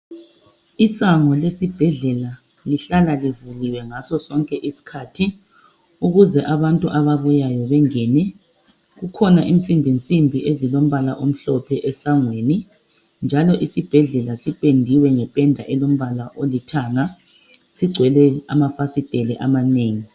Isango lesibhedlela lihlala livuliwe ngaso sonke isikhathi ukuze abantu ababuyayo bengene. Kukhona insimbinsimbi ezilombala omhlophe esangweni njalo isibhedlela sipendiwe ngependa elombala olithanga, sigcwele amafasiteli amanengi.